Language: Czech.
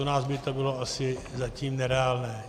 U nás by to bylo asi zatím nereálné.